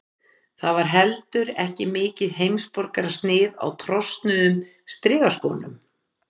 Það var heldur ekki mikið heimsborgarasnið á trosnuðum strigaskónum.